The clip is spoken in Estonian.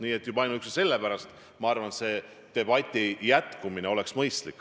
Nii et juba ainuüksi selle pärast, ma arvan, oleks debati jätkumine mõistlik.